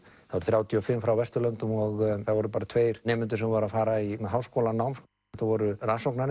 þrjátíu og fimm frá Vesturlöndum og það voru bara tveir nemendur sem voru að fara í háskólanám þetta voru